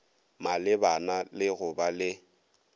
malebana le go ba le